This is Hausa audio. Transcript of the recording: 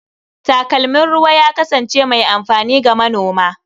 Takalmin ruwa ya kasance mai amfani ga manona.